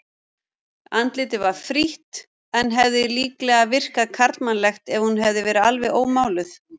Andlitið var frítt en hefði líklega virkað karlmannlegt ef hún hefði verið alveg ómáluð.